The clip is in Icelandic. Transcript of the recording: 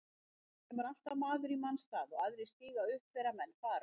Það kemur alltaf maður í manns stað og aðrir stíga upp þegar menn fara.